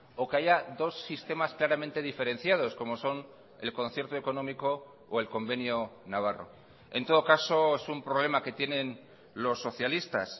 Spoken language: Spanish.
o que haya dos sistemas claramente diferenciados como son el concierto económico o el convenio navarro en todo caso es un problema que tienen los socialistas